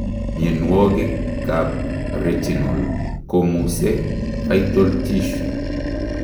Mionwogik ab retinal komusee vital tissue